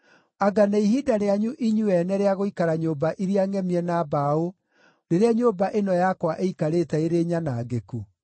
“Anga nĩ ihinda rĩanyu inyuĩ ene rĩa gũikara nyũmba iria ngʼemie na mbaũ rĩrĩa nyũmba ĩno yakwa ĩikarĩte ĩrĩ nyanangĩku?”